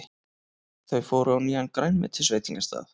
Þau fóru á nýjan grænmetisveitingastað.